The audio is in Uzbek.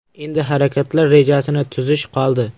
Endi harakatlar rejasini tuzish qoldi.